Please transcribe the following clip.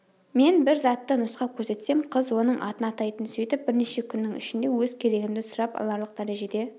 мен бір затты нұсқап көрсетсем қыз оның атын атайтын сөйтіп бірнеше күннің ішінде өз керегімді сұрап аларлық дәрежеде